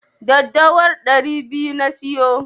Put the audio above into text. Daddawar ɗari biyu na siyo.